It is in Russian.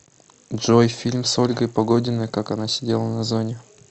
джой фильм с ольгой погодиной как она сидела на зоне